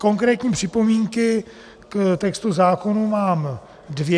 Konkrétní připomínky k textu zákonu mám dvě.